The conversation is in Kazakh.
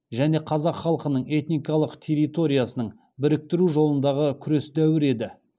және қазақ халқының этникалық территориясын біріктіру жолындағы күрес дәуірі еді